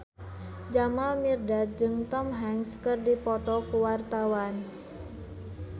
Jamal Mirdad jeung Tom Hanks keur dipoto ku wartawan